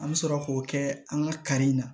An bɛ sɔrɔ k'o kɛ an ka kari in na